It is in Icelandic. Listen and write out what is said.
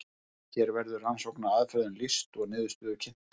hér verður rannsóknaraðferðum lýst og niðurstöður kynntar